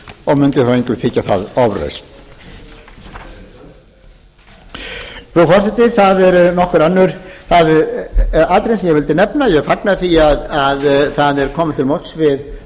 og mundi þó engum þykja það ofrausn frú forseti það árum nokkur önnur atriði sem ég vildi nefna ég fagna því að það er komið til móts við